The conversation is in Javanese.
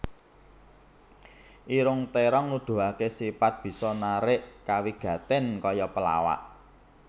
Irung Térong Nuduhaké sipat bisa narik kawigatèn kaya pelawak